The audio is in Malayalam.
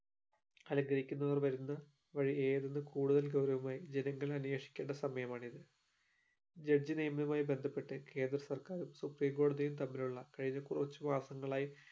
അലങ്കരിക്കുന്നതോട് വരുന്നത് വഴി കൂടുതൽ ഗൗരവമായി ജനങ്ങൾ അന്വേഷിക്കേണ്ട സമയമാണിത് judge നിയമവുമായി ബന്ധപ്പെട്ട് കേന്ദ്രസർക്കാരു supreme കോടതിയും തമ്മിലുള്ള കഴിഞ്ഞ കുറച്ചു മാസങ്ങളായി